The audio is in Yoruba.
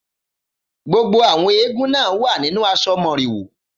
Gbogbo àwọn eégún náà wà nínú aṣọ Moriwo.